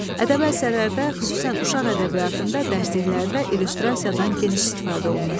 Ədəbi əsərlərdə, xüsusən uşaq ədəbiyyatında, dərsliklərdə illüstrasiyadan geniş istifadə olunur.